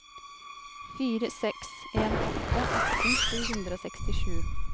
fire seks en åtte atten sju hundre og sekstisju